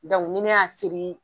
Dɔnku ni ne y'a seri